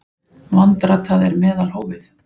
Vandratað er meðalhófið.